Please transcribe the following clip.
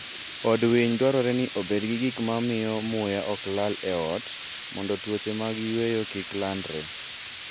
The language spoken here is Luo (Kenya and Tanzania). Od winy dwarore ni obed gi gik ma miyo muya ok kal e ot mondo tuoche mag yweyo kik landre.